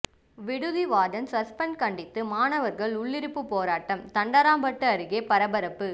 விடுதி warden suspend கண்டித்து மாணவர்கள் உள்ளிருப்பு போராட்டம் தண்டராம்பட்டு அருகே பரபரப்பு